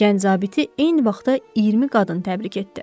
Gənc zabiti eyni vaxtda 20 qadın təbrik etdi.